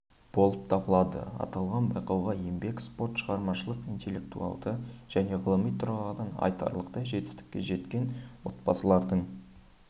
болып табылады аталған байқауға еңбек спорт шығармашылық интеллектуалды және ғылыми тұрғыдан айтарлықтай жетістікке жеткен отбасылардың